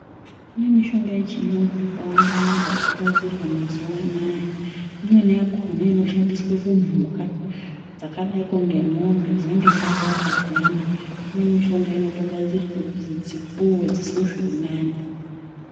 Kune mishonga yechiyungu yakawanda-wanda yaakugadzirwa mazuva anaya. Imweni yakona inoshandiswe kumhuka dzakadaiko ngemombe dzinenge dzarwara dziyana. Kune mishonga inotoogadzirwe kuti dzipuwe, dzizwe zvirinani.